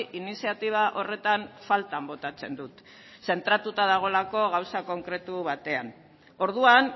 iniziatiba horretan faltan botatzen dut zentratuta dagoelako gauza konkretu batean orduan